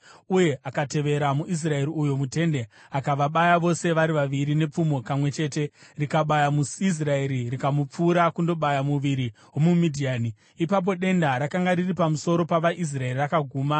uye akatevera muIsraeri uyo mutende. Akavabaya vose vari vaviri nepfumo kamwe chete, rikabaya muIsraeri rikapfuurira kundobaya muviri womuMidhiani. Ipapo denda rakanga riri pamusoro pavaIsraeri rakaguma;